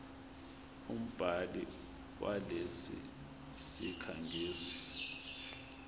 umbhali walesi sikhangisi